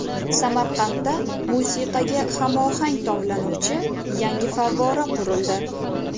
Samarqandda musiqaga hamohang tovlanuvchi yangi favvora qurildi.